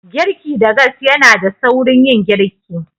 Girki da gas yanada saurin yin girki.